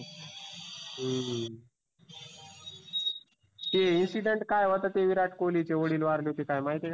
हम्म ते insident काय होता? ते विरात कोल्हीचे वडील वारले होते काय माहिती आहे का?